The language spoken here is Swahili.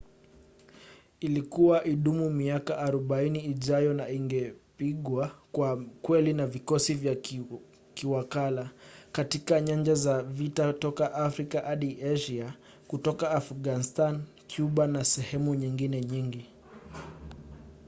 ilikuwa idumu kwa miaka 40 ijayo na ingepigwa kwa kweli na vikosi vya kiwakala katika nyanja za vita toka afrika hadi asia katika afghanistani kuba na sehemu nyingine nyingi